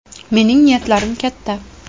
Mening niyatlarim katta.